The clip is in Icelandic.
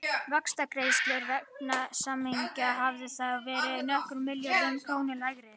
Vaxtagreiðslur vegna samninganna hefðu þá verið nokkrum milljörðum króna lægri.